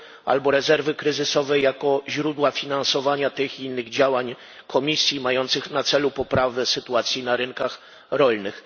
albo rezerwy kryzysowej jako źródła finansowania tych i innych działań Komisji mających na celu poprawę sytuacji na rynkach rolnych.